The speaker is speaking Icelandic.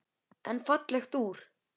En fallegt úr.